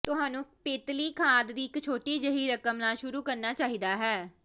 ਤੁਹਾਨੂੰ ਪੇਤਲੀ ਖਾਦ ਦੀ ਇੱਕ ਛੋਟੀ ਜਿਹੀ ਰਕਮ ਨਾਲ ਸ਼ੁਰੂ ਕਰਨਾ ਚਾਹੀਦਾ ਹੈ